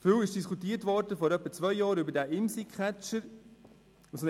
Vor etwa zwei Jahren wurde viel über den Imsi-Catcher diskutiert.